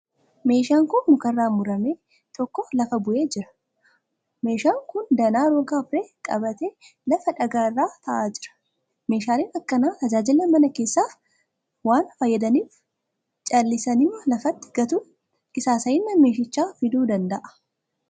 Meeshaan muka irraa murame tokko lafa bu'ee jira. Meehaan kun danaa roga arfee qabatee lafa dhagaa irra ta'aa jira. Meeshaaleen akkanaa tajaajila manaa keessaaf waan faayyadaniif callisaniima lafatti gatuun qisaasayina meeshichaa fiduu dnada'aa.